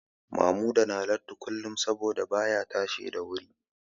Mamuda na latti kullum saboda baya tashi da wuri